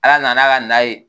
Ala nana a ka na ye